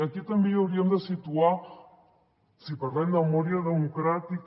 aquí també hi hauríem de situar si parlem de memòria democràtica